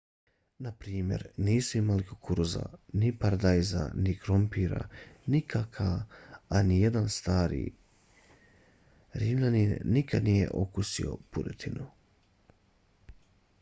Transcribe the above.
naprimjer nisu imali kukuruza ni paradajza ni krompira ni kakaa a nijedan stari rimljanin nikada nije okusio puretinu